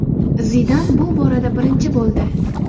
Zidan bu borada birinchi bo‘ldi.